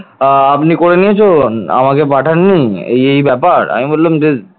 আপনি করে নিয়েছেন আমাকে পাঠাননি এই ব্যাপার আমি বললাম যে